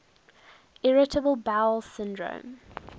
irritable bowel syndrome